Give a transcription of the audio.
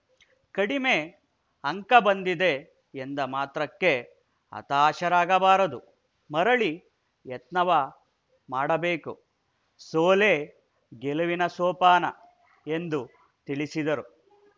ಕಡಿಮೆ ಅಂಕ ಬಂದಿದೆ ಎಂದ ಮಾತ್ರಕ್ಕೆ ಹತಾಶರಾಗಬಾರದು ಮರಳಿ ಯತ್ನವ ಮಾಡಬೇಕು ಸೋಲೇ ಗೆಲುವಿನ ಸೋಪಾನ ಎಂದು ತಿಳಿಸಿದರು